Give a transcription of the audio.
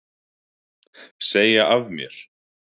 Segja af mér